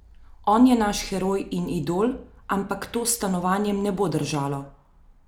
On je naš heroj in idol, ampak to s stanovanjem ne bo držalo.